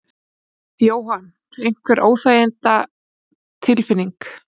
Jóhann: Einhver óþægindatilfinning?